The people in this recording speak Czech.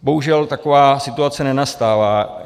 Bohužel taková situace nenastává.